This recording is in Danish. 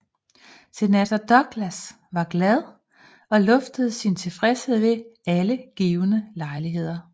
Senator Douglas var glad og luftede sin tilfredshed ved alle givne lejligheder